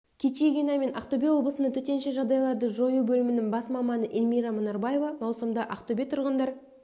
кичигина мен ақтөбе облысының төтенше жағдайларды жою бөлімінің бас маманы эльмира мұнарбаева маусымда ақтөбе тұрғындар